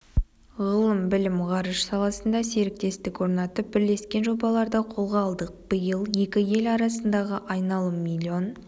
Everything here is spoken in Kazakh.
ғылым-білім ғарыш саласында серіктестік орнатып бірлескен жобаларды қолға алдық биыл екі ел арасындағы айналым миллион